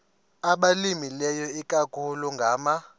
abalimileyo ikakhulu ngama